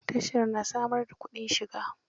Tasha na samar da kudin shiga.